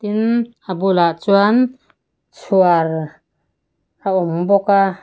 tin a bulah chuan chhuar a awm bawk a.